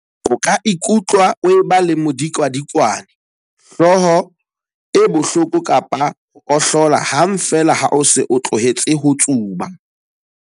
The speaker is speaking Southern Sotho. O ka ikutlwa o eba le modikwadikwane, hlooho e bohloko kapa ho ohlola hang feela ha o se o tlohetse ho tsuba.